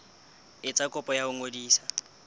etsa kopo ya ho ngodisa